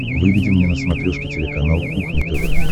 выведи мне на смотрешке телеканал кухня тв